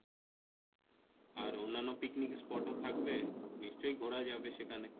আর অন্যান্য picnic spot ও থাকবে নিশ্চয় ঘোরা যাবে সেখানে,